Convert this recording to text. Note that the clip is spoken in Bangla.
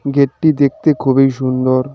গেটটি দেখতে খুবই সুন্দর।